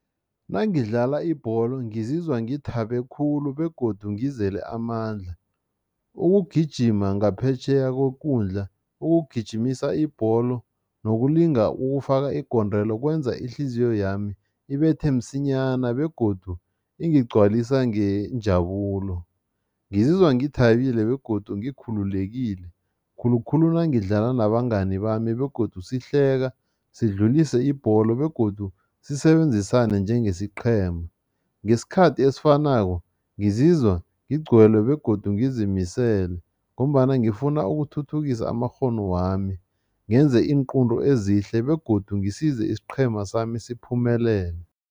Nangidlala ibholo ngizizwa ngithabe khulu begodu ngizele amandla. Ukugijima ngaphetjheya kwekundla, ukugijimisa ibholo nokulinga ukufaka igondelo kwenza ihliziyo yami ibethe msinyana begodu ingigcwalisa ngenjabulo. Ngizizwa ngithabile begodu ngikhululekile, khulukhulu nangidlala nabangani bami begodu sihleka, sidlulise ibholo begodu sisebenzisane njengesiqhema. Ngesikhathi esifanako, ngizizwa ngigcwele begodu ngizimisele ngombana ngifuna ukuthuthukisa amakghono wami, ngenze iinqunto ezihle begodu ngisize isiqhema sami siphumelele.